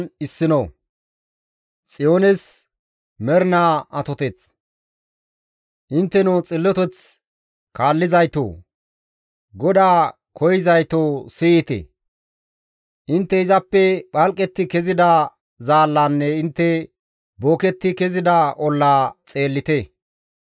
«Intteno xilloteth kaallizaytoo, GODAA koyzayto siyite. Intte izappe phalqetti kezida zaallazanne intte booketti kezida ollaa xeellite.